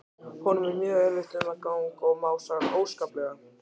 Honum er mjög erfitt um gang og másar óskaplega.